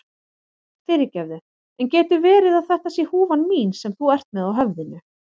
Fyrirgefðu, en getur verið að þetta sé húfan mín sem þú ert með á höfðinu?